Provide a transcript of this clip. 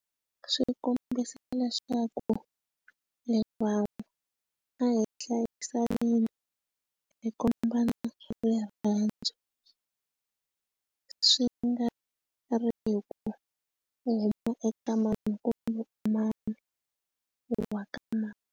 Swi kombisa leswaku hi vanhu a hi hlayisaneni hi ku mbala rirhandzu swi nga ri hi ku huma eka mani kumbe mani wa ka mani.